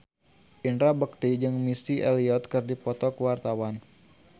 Indra Bekti jeung Missy Elliott keur dipoto ku wartawan